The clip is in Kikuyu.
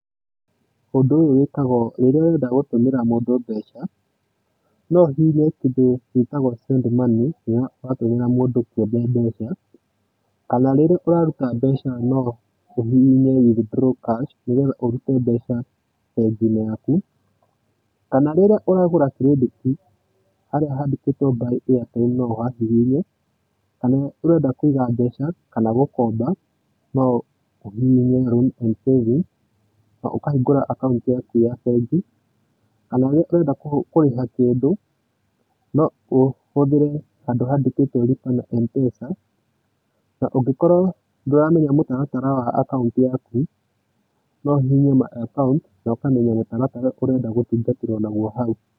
Ũndũ ũyũ wĩkagwo rĩrĩa ũrenda gũtũmĩra mũndũ mbeca. No ũhihinye kĩndũ gitagwo send money rĩrĩa ũratũmĩra mũndũ kĩũmbe mbeca, kana rĩrĩa ũraruta mbeca no ũhihinye withdraw cash nĩgetha ũrute mbeca bengi-inĩ yaku, kana rĩrĩa ũragũra kirendetĩ harĩa handĩkĩtwo nbuy airtimen no ũhahihinye, kana ũrenda Kũiga mbeca kana gũkomba no ũhihinye nloans and savingsn na ũkahingũra akaunti yaku ya bengi kana rĩrĩa ũrenda kũrĩha kĩndũ no ũhũthĩre handũ handĩkĩtwo nlipa na Mpesan. Na ũngĩkorwo ndũramenya mũtaratara wa akaunti yaku no ũhihinye nmy account na ũkamenya mũtaratara ũrĩa ũrenda gũtungatĩrwo naguo hau.